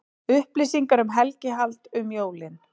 Upplýsingar um helgihald um jólin